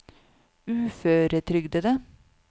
uføretrygdede